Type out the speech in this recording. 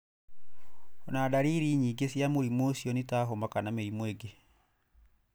Ona ndariri nyingĩ cia mũrimũ ũcio nĩ ta homa kana mĩrimũ ĩngĩ.